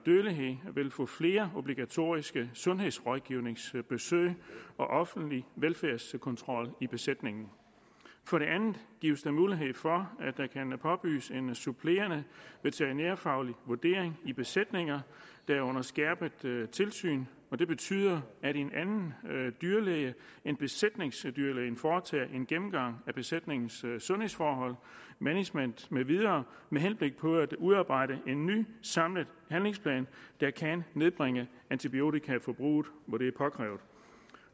dødelighed vil få flere obligatoriske sundhedsrådgivningsbesøg og offentlig velfærdskontrol i besætningen for det andet gives der mulighed for at påbydes en supplerende veterinærfaglig vurdering i besætninger der er under skærpet tilsyn det betyder at en anden dyrlæge end besætningsdyrlægen foretager en gennemgang af besætningens sundhedsforhold management med videre med henblik på at udarbejde en ny samlet handlingsplan der kan nedbringe antibiotikaforbruget